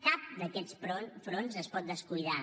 cap d’aquests fronts es pot descuidar